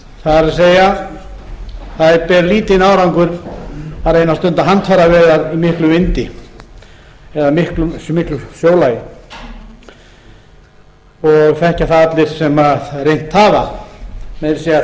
það er það ber lítinn árangur að reyna að stunda handfæraveiðar í miklum vindi eða miklu sjólagi og þekkja það allir sem reynt hafa meira að segja